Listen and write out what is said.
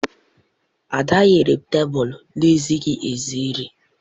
Ada nyere tebụl na-ezighi ezi nri.